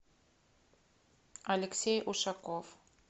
алексей ушаков